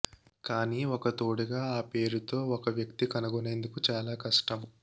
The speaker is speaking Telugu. కానీ ఒక తోడుగా ఆ పేరుతో ఒక వ్యక్తి కనుగొనేందుకు చాలా కష్టం